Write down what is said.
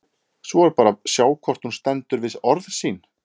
Svo er bara að sjá hvort hún stendur við orð sín!